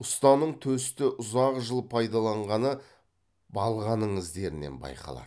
ұстаның төсті ұзақ жыл пайдаланғаны балғаның іздерінен байқалады